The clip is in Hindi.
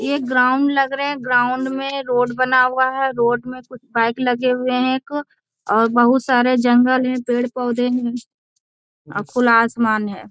ये ग्राउंड लग रहे हैं ग्राउंड में रोड बना हुआ है रोड में कुछ बाइक लगे हुए हैं एक बहुत सारे जंगल है पेड़-पौधे है खुला आसमान है।